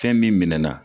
Fɛn min minɛnɛna